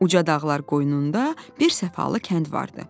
Ucadağlar qoynunda bir səfalı kənd vardı.